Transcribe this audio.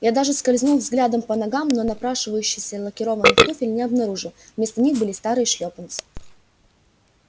я даже скользнул взглядом по ногам но напрашивающихся лакированных туфель не обнаружил вместо них были старые шлёпанцы